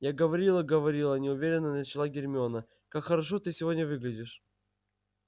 я говорила я говорила неуверенно начала гермиона как хорошо ты сегодня выглядишь